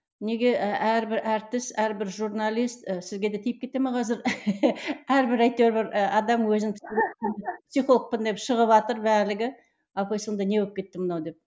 неге әрбір әртіс әрбір журналист сізге де тиіп кете ме қазір әрбір әйтеуір бір адам өзін психологпын деп шығыватыр барлығы апай сонда не болып кетті мынау деп